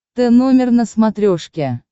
тномер на смотрешке